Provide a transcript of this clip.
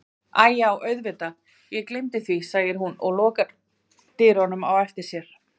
Æi já auðvitað ég gleymdi því, segir hún og lokar dyrunum á eftir sér.